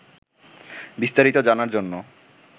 বিস্তারিত জানার জন্য